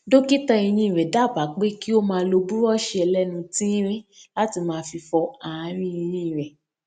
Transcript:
dókítà eyín rè dábàá pé kí ó máa lo búrọọṣì ẹlẹnu tíírín láti máa fi fọ ààrín eyín rẹ